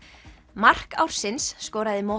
mark ársins skoraði